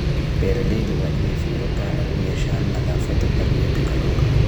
Beeralayda waa inay fiiro gaar ah u yeeshaan nadaafadda balliyada kalluunka.